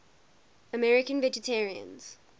american vegetarians